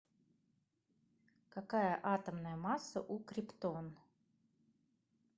какая атомная масса у криптон